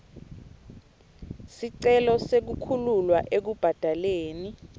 sicelo sekukhululwa ekubhadaleni